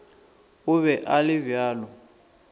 o be a le bjalo